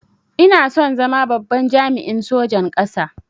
Ina son zama babban jami'in sojan ƙasa